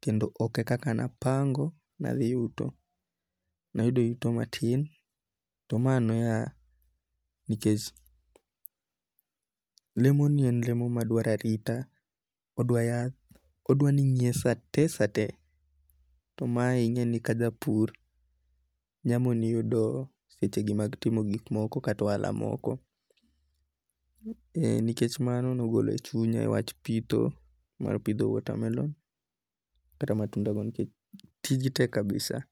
kendo oke kaka napango' nathi yudo, nayudo yuto matin to mano noya nikech, lemonie en lemo maduaro arita, odwa yath odwa ni ingiye sate sate to mae inge'ni kakapur nyamoni yudo secheni mag timo gik moko kata ohala moko, ee nikech mano nogolo chunya wach pitho mar pitho watermelon kata matunda moro nikech tiji tek kabisa.